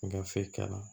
Gafe k'a la